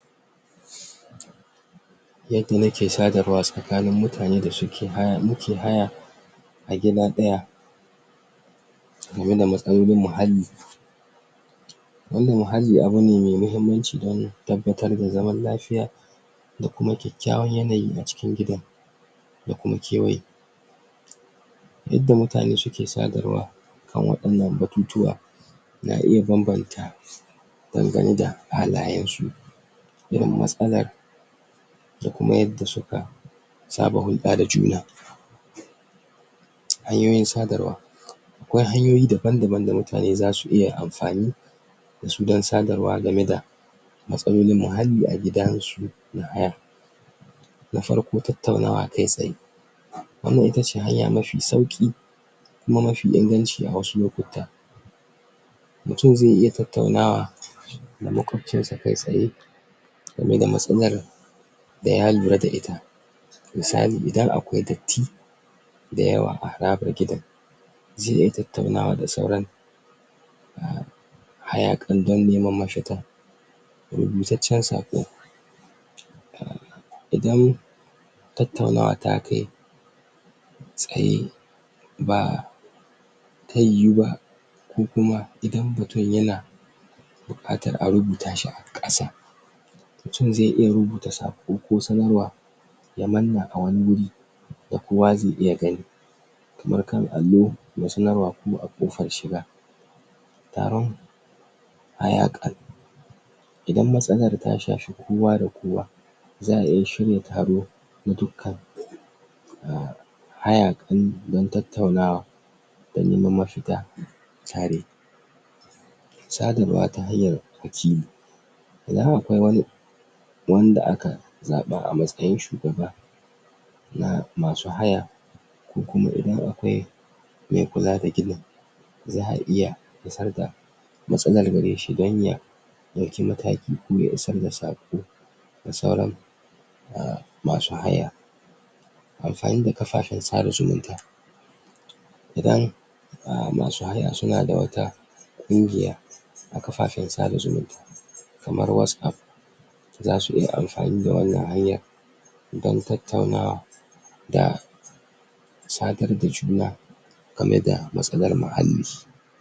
Yadda nake sadarwa tsakanin mutanen da suke haya, nike haya A gida daya Gama da matsayin bin muhalli More muhalli abu mai muhimmanci ne, don Tabbatar da zaman lafiya Da kuma kwakkwan yanayi a cikin gidan Da kuma kewaye Yadda mutane suke sadarwa A wadannan batutuwa Na iya banbanta Dangane da halayen su matsalar Da kuma yadda suka Saba hudda da juna Hanyoyin sadarwa Akwai hanyoyi daban daban da mutane zasu iya amfani dasu dan sadarwa dangane da Matsalolin muhalli a gidansu Na farko tattaunawa kai tsaye Wannan itace hanya mafi sauki Kuma mafi ingance a wasu lokuta Mutum zai iya tattaunawa Da makwabcinsa kai tsaye Game da matsalar Misali itan akwai wata Da yawa a harabar gidan Zai iya tattara sauran Hayakan bango Rubutaccen sako Idan Tattaunawa takai Tsayi Ba Bai huwu ba Ko kuma idan bata Bukatar a rubuta shi a kasa Mutum zai iya rubuta sako kusan zuwa Da kowa zai iya kai Wasu kan allo wasu kuma a kofar shiga Hayaka Idan matsalar ta shafi kowa da kowa Za'ai shiri tare Duka Haya don tattauna Wannan mafita Tare sadarwa ta hanyar wakili wannan kuma wani Yanda aka Zaba a matsayin shugaba Na masu haya Ko kuma inda akwai Mai kula da ginin Za'a iya Matsalar shi danya Dauki mataki koya isar da sako Ga sauran Umm masu haya Amfani da kafafan sada zumunta Don Umm masu haya suna da a kafafan sada zumunta Kamar what'sApp Zasu iya amfani da wannan hanyar Don tattaunawa Da Sadar da juna Game da matsalar muhalli